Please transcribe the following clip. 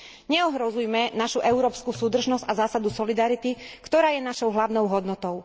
Neohrozujme našu európsku súdržnosť a zásadu solidarity, ktorá je našou hlavnou hodnotou.